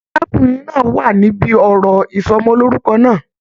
Arákùnrin náà wà níbí òrò ìsọmọlorúkọ náà.